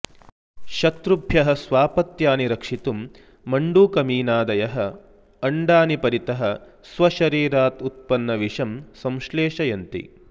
शत्रुभ्यः स्वापत्यानि रक्षितुं मण्डूकमीनादयः अण्डानि परितः स्वशरीरात् उत्पन्नविषं संश्लेषयन्ति